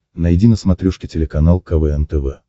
найди на смотрешке телеканал квн тв